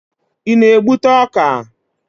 Ị na-egbute ọka?